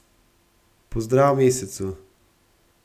Pozdrav mesecu.